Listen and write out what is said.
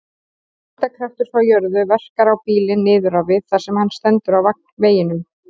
Þyngdarkraftur frá jörð verkar á bílinn niður á við þar sem hann stendur á veginum.